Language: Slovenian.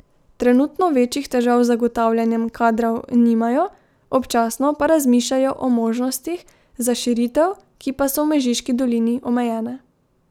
Trenutno večjih težav z zagotavljanjem kadrov nimajo, občasno pa razmišljajo o možnostih za širitev, ki pa so v Mežiški dolini omejene.